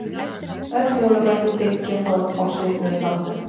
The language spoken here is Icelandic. Öll hjólabretti byggja þó á svipuðum þáttum.